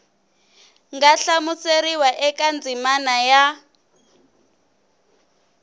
nga hlamuseriwa eka ndzimana ya